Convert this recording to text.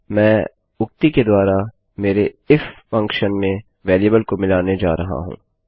मैं उक्ति के द्वारा मेरे इफ फंक्शन फलन में वेरिएबल को मिलाने जा रहा हूँ